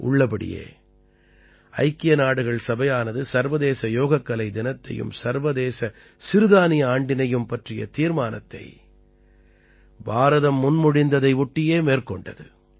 உள்ளபடியே ஐக்கிய நாடுகள் சபையானது சர்வதேச யோகக்கலை தினத்தையும் சர்வதேச சிறுதானிய ஆண்டினையும் பற்றிய தீர்மானத்தை பாரதம் முன்மொழிந்ததை ஒட்டியே மேற்கொண்டது